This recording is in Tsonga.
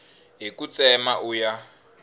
hi ku tsema u ya